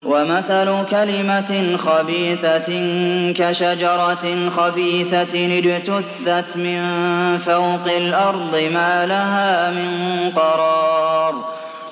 وَمَثَلُ كَلِمَةٍ خَبِيثَةٍ كَشَجَرَةٍ خَبِيثَةٍ اجْتُثَّتْ مِن فَوْقِ الْأَرْضِ مَا لَهَا مِن قَرَارٍ